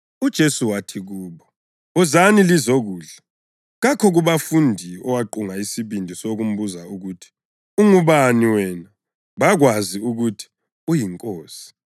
UJesu wathi kubo, “Wozani lizokudla.” Kakho kubafundi owaqunga isibindi sokumbuza ukuthi, “Ungubani wena?” Bakwazi ukuthi yiNkosi.